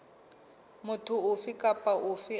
motho ofe kapa ofe a